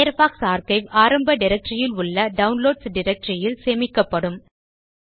Firefox archive ஆரம்ப directory இல் உள்ள டவுன்லோட்ஸ் டைரக்டரி இல் சேமிக்கப்படும்